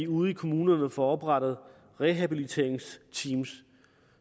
ude i kommunerne får oprettet rehabiliteringsteam